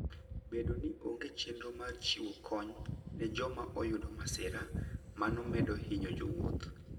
Bedo ni onge chenro mar chiwo kony ne joma oyudo masira, mano medo hinyo jowuoth.